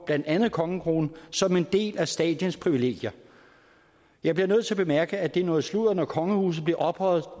blandt andet kongekronen som en del af statens privilegier jeg bliver nødt til at bemærke at det er noget sludder når kongehuset bliver ophøjet